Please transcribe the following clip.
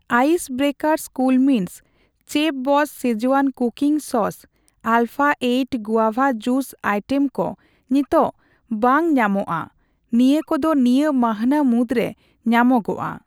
Ice breakers cool mints, ᱪᱮᱯᱷᱵᱚᱥᱥ ᱥᱠᱤᱡᱣᱟᱱ ᱤᱥᱤᱱ ᱥᱚᱥ ᱟᱨ ᱟᱞᱯᱷᱟ ᱤᱨᱟᱹᱞ ᱟᱹᱡᱤᱨ ᱨᱟᱥᱟ ᱟᱭᱴᱮᱢ ᱠᱚ ᱱᱤᱛᱚᱜ ᱵᱟᱹᱧ ᱧᱟᱢᱚᱜᱼᱟ, ᱱᱤᱭᱟᱹ ᱠᱚ ᱫᱚ ᱱᱤᱭᱟᱹ ᱢᱟᱹᱱᱦᱟᱹ ᱢᱩᱫᱨᱮ ᱧᱟᱢᱚᱜᱚᱜᱼᱟ ᱾